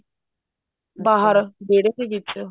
ਬਾਹਰ ਵਿਹੜੇ ਦੇ ਵਿੱਚ